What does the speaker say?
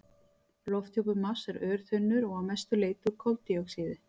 Lofthjúpur Mars er örþunnur og að mestu leyti úr koldíoxíði.